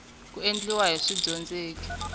ku endliwa hi swidyondzeki swa